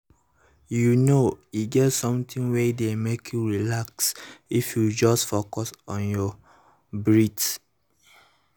you know e get something wey dey make you relax if you just focus on your breath